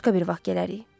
Başqa bir vaxt gələrik.